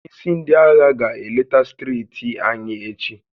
Onye isi ndị agha ga-eleta steeti anyị echi.